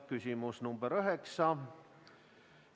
Küsimus number 9.